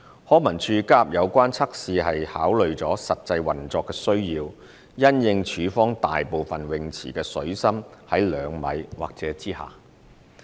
康文署加入有關測試是考慮了實際運作需要，因應署方大部分泳池的水深是2米或以下。